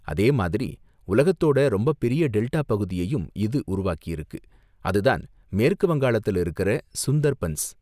அதேமாதிரி, உலகத்தோட ரொம்பப் பெரிய டெல்டா பகுதியையும் இது உருவாக்கியிருக்கு, அதுதான் மேற்கு வங்காளத்துல இருக்கிற சுந்தர்பன்ஸ்.